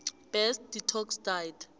best detox diet